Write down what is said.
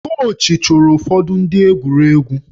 Kochị chụrụ ụfọdụ ndị egwuregwu